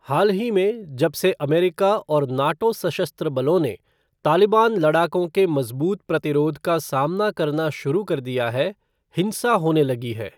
हाल ही में जबसे अमेरिका और नाटो सशस्त्र बलों ने तालिबान लड़ाकों के मज़बूत प्रतिरोध का सामना करना शुरू कर दिया है, हिंसा होने लगी है।